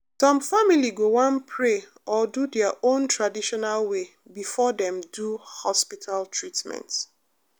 some family go wan pray or do their own traditional way before dem do hospital treatment.